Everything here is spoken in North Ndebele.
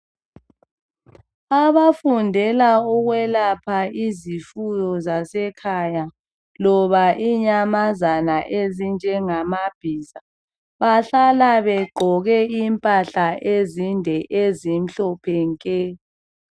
Abafundela ukwelapha izifuyo zasekhaya loba inyamazana ezinjengama bhiza bahlala begqoke impahla ezinde ezimhlophe nke.